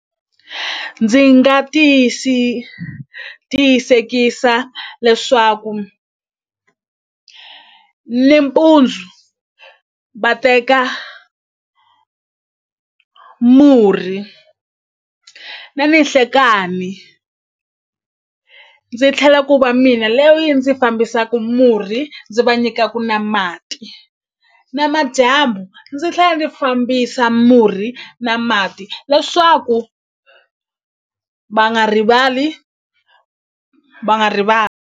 Ndzi nga tiyisekisa leswaku nimpundzu va teka murhi na ninhlekani ndzi tlhela ku va mina loyi ndzi fambisaku murhi ndzi va nyikaku na mati na madyambu ndzi tlhela ndzi fambisa murhi na mati leswaku va nga rivali va nga .